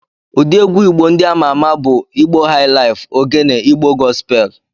Ụdị egwu Igbo ndị ama ama bụ Igbo haịlaịfu, Ogene, Igbo gọspel.